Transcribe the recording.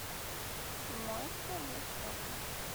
моющее для стекол